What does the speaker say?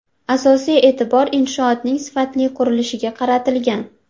Asosiy e’tibor inshootning sifatli qurilishiga qaratilgan.